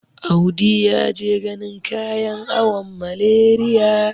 Audi ya je ganin kayan awon Malariya.